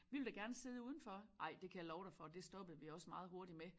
Vi ville da gerne sidde udenfor ej det kan jeg love dig for det stoppede vi også meget hurtigt med